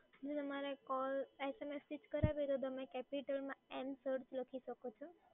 ma'am અમારે call SMS થી જ કરાવીએ તો તમે capital માં એન